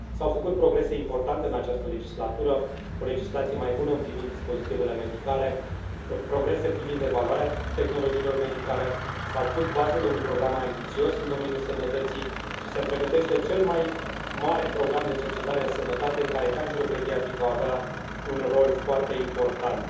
S au făcut progrese importante în această legislatură o legislație mai bună privind dispozitivele medicale, progrese privind evaluarea tehnologiilor medicale, s au pus bazele unui program mai ambițios în domeniul sănătății și se pregătește cel mai mare program de cercetare în sănătate, în care cancerul pediatric va avea un rol foarte important.